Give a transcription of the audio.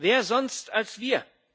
Wer sonst als wir?